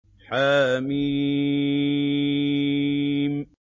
حم